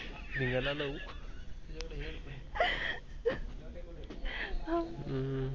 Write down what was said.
जिंगणं लाऊ हम्म